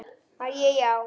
Æi, já.